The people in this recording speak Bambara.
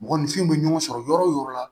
Mɔgɔninfinw bɛ ɲɔgɔn sɔrɔ yɔrɔ o yɔrɔ la